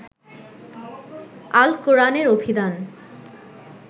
আল কোরআনের অভিধান